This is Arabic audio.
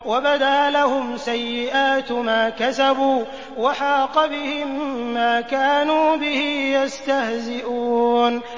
وَبَدَا لَهُمْ سَيِّئَاتُ مَا كَسَبُوا وَحَاقَ بِهِم مَّا كَانُوا بِهِ يَسْتَهْزِئُونَ